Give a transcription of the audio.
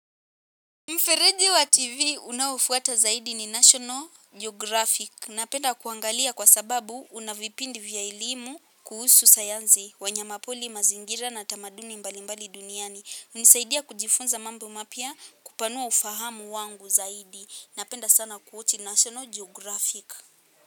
Mfereji wa TV unaofuata zaidi ni National Geographic. Napenda kuangalia kwa sababu unavipindi vya elimu kuhusu sayansi wanyamapori mazingira na tamaduni mbalimbali duniani hunisaidia kujifunza mambo mapya kupanua ufahamu wangu zaidi. Napenda sana kuwochi National Geographic.